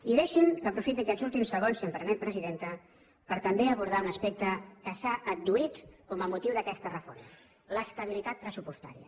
i deixin me que aprofiti aquests últims segons si m’ho permet presidenta per també abordar un aspecte que s’ha adduït com a motiu d’aquesta reforma l’estabilitat pressupostària